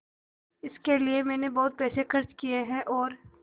इसके लिए मैंने बहुत पैसे खर्च किए हैं और